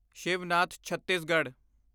Shivnath Chhattisgarh